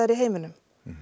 í heiminum